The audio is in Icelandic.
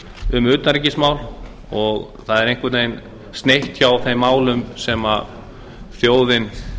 um utanríkismál og það er einhvern veginn sneitt hjá þeim málum sem þjóðin